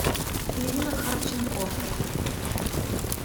ирина харченко